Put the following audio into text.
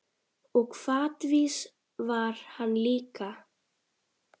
Og hvatvís var hann líka.